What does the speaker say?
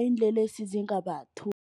iinlelesi